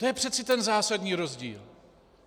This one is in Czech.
To je přeci ten zásadní rozdíl!